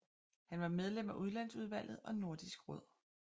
Han var medlem af udlandsudvalget og Nordisk råd